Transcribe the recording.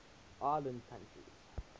island countries